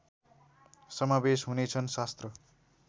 समावेश हुनेछन् शास्त्र